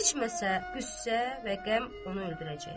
İçməsə, qüssə və qəm onu öldürəcək.